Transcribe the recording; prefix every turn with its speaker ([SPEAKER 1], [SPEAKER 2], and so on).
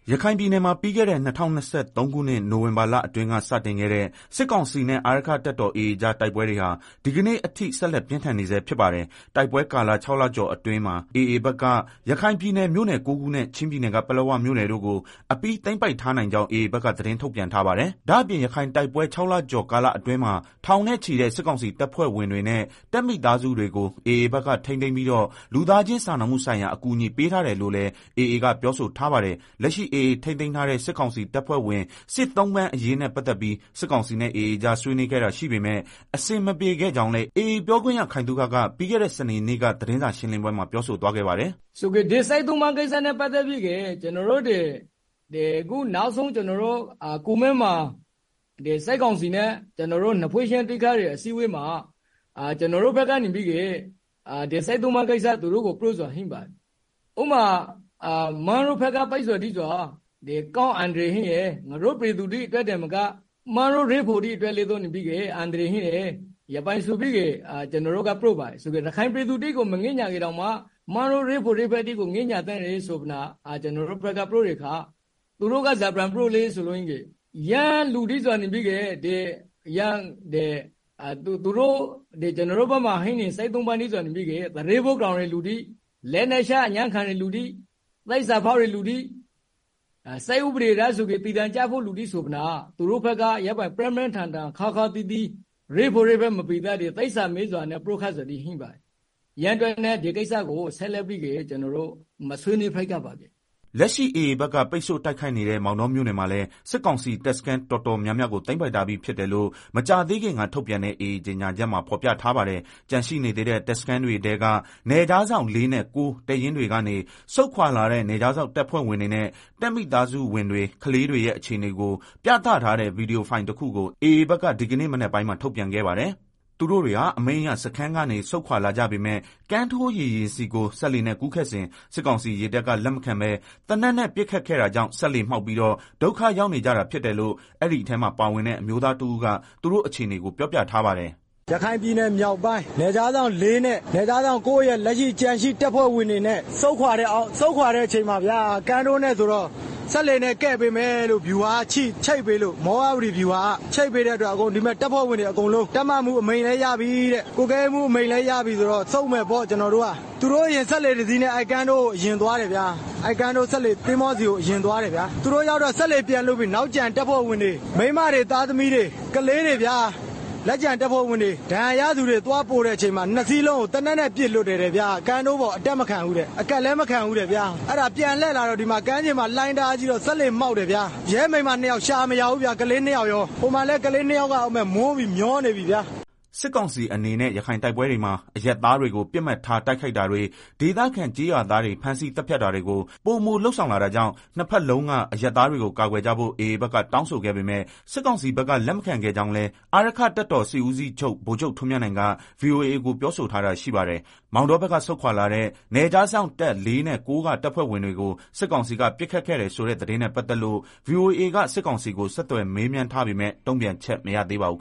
[SPEAKER 1] ရခိုင်ပြည်နယ်မှာ ပြီးခဲ့တဲ့ ၂၀၂၃ ခုနှစ် နိုဝင်ဘာလအတွင်းက စတင်ခဲ့တဲ့ စစ်ကောင်စီနဲ့ အာရက္ခတပ်တော်AAကြားတိုက်ပွဲတွေဟာ ဒီကနေ့အထိ ဆက်လက်ပြင်းထန်နေဆဲဖြစ်ပါတယ်။ တိုက်ပွဲကာလ ၆လကျော်အတွင်း ရခိုင်ပြည်နယ် မြို့နယ် ၉ခုနဲ့ ချင်းပြည်နယ် ပလက်ဝမြို့နယ်တို့ကို အပြီးအပိုင်သိမ်းပိုက်ထားနိုင်ကြောင်း AA ဘက်ကသတင်းထုတ်ပြန်ထားပါတယ်။ ဒါ့အပြင် ရခိုင်တိုက်ပွဲ ၆ လကျော်ကာလအတွင်းမှာ ထောင်နဲ့ ချီတဲ့ စစ်ကောင်စီတပ်ဖွဲ့ဝင်တွေ တပ်မိသားစုတွေကို AAဘက်က ထိန်းသိမ်းပြီးတော့ လူသားချင်းစာနာမှုဆိုင်ရာ အကူညီပေးထားတယ်လို့လည်း AAကပြောဆိုထားပါတယ်။ လက်ရှိ AA ထိန်းသိမ်းထားတဲ့ စစ်ကောင်စီတပ်ဖွဲ့ဝင် စစ်သုံ့ပန်းအရေးနဲ့ ပတ်သတ်ပြီး စစ်ကောင်စီနဲ့ AAကြား ဆွေးနွေးခဲ့တာရှိပေမယ့် အဆင်မပြေခဲ့ကြောင်းလည်း AAပြောခွင့်ရ ခိုင်သုခက ပြီးခဲ့တဲ့ စနေနေ့က သတင်းစာရှင်းလင်းပွဲမှာ ပြောဆိုသွားခဲ့ပါတယ်။
[SPEAKER 2] “ ဒီစစ်သုံ့ပန်းကိစ္စနဲ့ ပတ်သတ်ပြီးတော့ နောက်ဆုံးကျနော်တို့ ကူမင်းမှာ စစ်ကောင်စီနဲ့ နှစ်ဖွဲ့ ချင်းတွေ့ခဲ့တဲ့ အစည်းအဝေးမှာ ကျနော်တို့က စစ်သုံ့ပန်းကိစ္စသူတို့ကို ပြောတာရှိတယ်။ ဥပမာ မင်းတို့ ဘက်က ပစ်ခတ်နေတာတွေက အန္တရာယ်များတယ်။ငါတို့ပြည်သူတွေ အတွက် သာမက မင်းတို့ ရဲဘော်တွေအတွက်ပါ အန္တရာယ်ရှိတယ် လို့ ကျနော်တို့ပြောတယ်၊ ရခိုင်ပြည်သူတွေကို မငဲ့ညှာရင်တောင်မှ မင်းတို့ ရဲဘော် ရဲဘက်တွေကို ငဲ့ညှာသင့်တယ် ကျနော်တို့ ပြောတဲ့အခါ သူတို့က ဘာပြန်ပြောလဲဆိုတော့ ကျနော်တို့ဆီမှာ ရှိနေတဲ့ စစ်သုံ့ပန်းတွေဟာ သူရဲဘောကြောင်တဲ့သူတွေ၊ လက်နက်ချအညံ့ခံတဲ့သူတွေ သစ္စာဖောက် တဲ့သူတွေ စစ်ဥပဒေအရဆိုရင် သေဒဏ်ကျမယ့်သူတွေ ဆိုပြီးတော့ သူတို့ဘက်က ပြင်းပြင်းထန်ထန်ခါးခါး သီးသီး ရဲဘော်ရဲဘက် မပီသပဲ သစ္စာမဲ့စွာ ပြောခဲ့တာတွေရှိတယ်။ အဲဒါကြောင့် ဒီကိစ္စကို ဆက်ပြီးတော့ မဆွေးနွေးဖြစ်တော့ဘူး။”
[SPEAKER 1] လက်ရှိ AA ဘက်က ပိတ်ဆို့တိုက်ခိုက်နေတဲ့ မောင်တောမြို့နယ်မှာလည်း စစ်ကောင်စီ တပ်စခန်းတော်တော်များများကို သိမ်းပိုက်ထားပြီးဖြစ်တယ်လို့ မကြာသေးခင်က ထုတ်ပြန်တဲ့ AA ကြေညာချက်မှာ ဖေါ်ပြထားပါတယ်။ ကျန်ရှိနေသေးတဲ့ တပ်စခန်းတွေထဲကနယ်ခြားစောင့် ၄နဲ့ ၉ တပ်ရင်းတွေကနေ ဆုတ်ခွာလာတဲ့ နယ်ခြားစောင့်တပ်ဖွဲ့ဝင်တွေနဲ့ တပ်မိသားစုဝင်တွေ၊ ကလေးတွေ ရဲ့ အခြေအနေကို ပြသထားတဲ့ ဗွီဒီယိုဖိုင်တခုကို AA ဘက်က ဒီကနေ့မနက်ပိုင်းမှာ ထုတ်ပြန်ခဲ့ပါတယ်။ သူတို့တွေဟာ အမိန့်အရ စခန်းကနေ ဆုတ်ခွာလာကြပေမယ့် ကမ်းထိုးရေယာဉ်ဆီကို စက်လှေနဲ့ ကူးခတ်စဉ် စစ်ကောင်စီရေတပ်က လက်မခံပဲ သေနတ်နဲ့ ပစ်ခတ်ခဲ့တာကြောင့် စက်လှေမှောက်ပြီးတော့ ဒုက္ခရောက်နေကြတာဖြစ်တယ်လို့ အဲဒီမှာပါဝင်တဲ့ အမျိုးသား တဦးက သူတို့အခြေအနေကို ပြောပြထားပါတယ်။
[SPEAKER 3] “ရခိုင်ပြည်နယ်မြောက်ပိုင်း နယ်ခြားစောင့် ၄နဲ့ နယ်ခြားစောင့် ၉ က လက်ရှိ ကျန်ရှိတပ်ဖွဲ့ဝင် တွေ၊ ဆုတ်ခွာတဲ့ အချိန်မှာဗျာ စက်လှေနဲ့ ဆိုတော့ စက်လှေနဲ့ ကယ်ပေးမယ်လို့ မောရဝတီဗျူဟာက ချိတ်ပေးလို့ ဒီမှာ တပ်ဖွဲ့ဝင်တွေ အကုန်လုံး တပ်မမှူး အမိန့်လည်းရပြီ ကွပ်ကွဲရေးမှူး အမိန့်လည်းရပြီဆိုတော့ ဆုတ်မယ်ပေါ့ကျနော်တို့က သူတို့အရင် စက်လှေနဲ့ တစီးနဲ့ ကမ်းထိုး ယာဉ်ဆီအရင် သွားတယ်ဗျာ သူတို့ရောက်တော့ စက်လှေပြန်လွှတ်ပြီး နောက်ကျန်တပ်ဖွဲ့ဝင်တွေ မိန်းမတွေ ကလေးတွေနဲ့ ဒဏ်ရာ ရထားသူတွေကို သွားပို့တဲ့ အချိန်မှာ နှစ်စီးလုံးကို သေနတ်နဲ့ ပစ်လွှတ်တယ်တဲ့ဗျာ။ ကမ်းထိုးပေါ်အတက်မခံဘူး၊ အကပ်လည်းမခံဘူးတဲ့ဗျာ။ အဲဒါ ပြန်လှည့်လာတော့ ကမ်းခြေမှာ လှိုင်းလည်းတအားကြီးတော့ စက်လှေမှောက်တယ်ဗျာ။ ရဲမိန်းမနှစ်ယောက် ရှာမရဘူးဗျာ ကလေးနှစ်ယောက်ရော ဟိုမှာလည်း ကလေးနှစ်ယောက်က မျော
[SPEAKER 1] နေပြီဗျာ။” စစ်ကောင်စီအနေနဲ့ ရခိုင်တိုက်ပွဲတွေမှာ အရပ်သားတွေကို ပစ်မှတ်ထားတိုက် ခိုက်တာတွေ ဒေသခံကျေးရွာသားတွေ ဖမ်းဆီးသတ်ဖြတ်တာတွေကို ပိုမိုလုပ်ဆောင် လာတာကြောင့် နှစ်ဘက်လုံးက အရပ်သားတွေကို ကာကွယ်ကြဖို့ AAဘက် တောင်းဆိုခဲ့ ပေမယ့် စစ်ကောင်စီဘက်က လက်မခံခဲ့ကြောင်းလည်း အာရက္ခတပ်တော်စစ်ဦး စီးချုပ် ဗိုလ်ချုပ် ထွန်းမြတ်နိုင်က ဗွီအိုအေကို ပြောဆိုထားတာရှိပါတယ်။ မောင်တောဘက်က ဆုတ်ခွာလာတဲ့ နယ်ခြားစောင့်တပ် ၄ နဲ့ ၉ကတပ်ဖွဲ့၀င်တွေကို စစ်ကောင်စီက ပစ်ခတ်ခဲ့တဲ့ ဆိုတဲ့ သတင်းနဲ့ ပတ်သက်လို့ ဗွီအိုအေက စစ်ကောင်စီကို ဆက်သွယ်မေးမြန်းထားပေမဲ့ တုံ့ပြန်ချက်မရသေးပါဘူး။